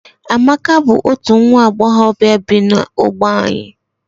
Amaka bu otu nwa Agbogobia bu na-ogbe anyi.